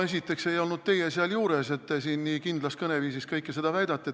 Esiteks ei olnud teie seal juures, kuigi te siin kindlas kõneviisis kõike seda väidate.